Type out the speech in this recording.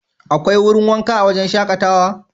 Akwai wurin wanka a wajen shakatawa?